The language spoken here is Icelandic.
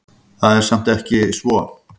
Það er samt ekki svo.